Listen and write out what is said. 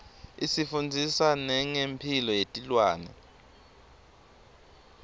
isifundzisa nengemphilo yetilwane